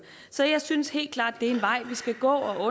så jeg synes helt klart det er en vej vi skal gå og at